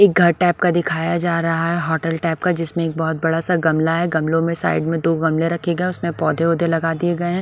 एक घर टाइप का दिखाया जा रहा है होटल टाइप का जिसमें एक बहुत बड़ा सा गमला है गमलो में साइड में दो गमले रखे गए हैं उसमें पौधे वोधे लगा दिए गए हैं।